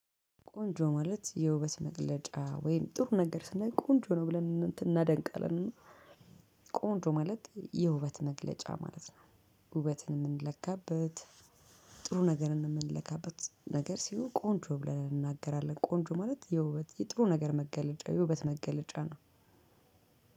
ቆንጆ ማለት የውበት መገለጫ ወይም ጥሩ ነገር ስንል ቆንጆ ነው ብለን እናደንቃለን። ቆንጆ ማለት የውበት መግለጫ ማለት ነው። ውበትን የምንለካበት። ጥሩ ነገርን የምንለካበት ነገር ሲሆን ቆንጆ ብለን እንናገራለን ቆንጆ ማለት የውበት የጥሩ ነገር መገለጫ የውበት መገለጫ ነው።